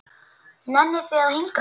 Nennið þið að hinkra?